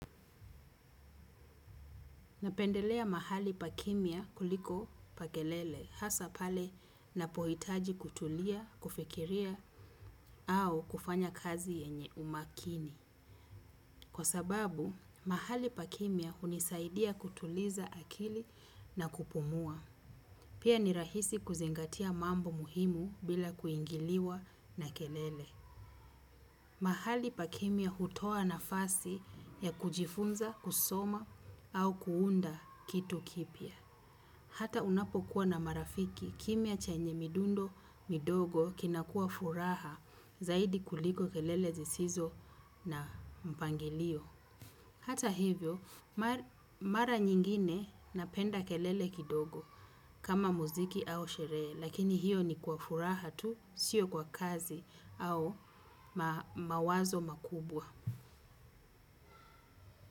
Napendelea mahali pa kimya kuliko pa kelele, hasa pale napohitaji kutulia, kufikiria, au kufanya kazi yenye umakini. Kwa sababu, mahali pakimya hunisaidia kutuliza akili na kupumua. Pia ni rahisi kuzingatia mambo muhimu bila kuingiliwa na kelele. Mahali pakimya hutoa nafasi ya kujifunza, kusoma, au kuunda kitu kipya. Hata unapo kuwa na marafiki, kimya chenye midundo midogo kinakua furaha zaidi kuliko kelele zisizo na mpangilio. Hata hivyo, mara nyingine napenda kelele kidogo kama muziki au sherehe, lakini hiyo ni kwa furaha tu, sio kwa kazi au mawazo makubwa.